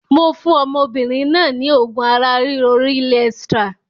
Mo fún ọmọbìnrin náà ni oògùn ara ríro Real Extra